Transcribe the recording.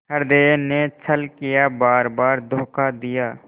हृदय ने छल किया बारबार धोखा दिया